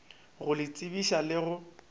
go le tsebiša le go